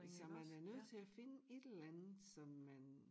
Så man er nødt til at finde et eller andet som man